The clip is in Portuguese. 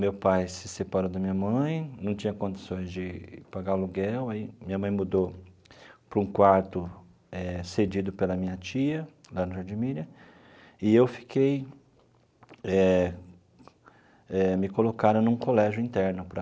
Meu pai se separou da minha mãe, não tinha condições de pagar aluguel, aí minha mãe mudou para um quarto eh cedido pela minha tia, lá no Jardim Miriam, e eu fiquei eh eh... me colocaram num colégio interno para